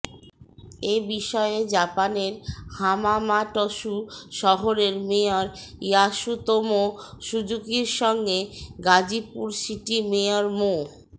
এ বিষয়ে জাপানের হামামাটসু শহরের মেয়র ইয়াসুতোমো সুুজুকির সঙ্গে গাজীপুর সিটি মেয়র মো